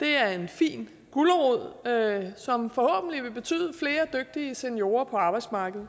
det er en fin gulerod som forhåbentlig vil betyde flere dygtige seniorer på arbejdsmarkedet